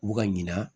U bɛ ka ɲina